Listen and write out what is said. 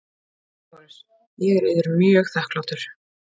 LÁRUS: Ég er yður mjög þakklátur.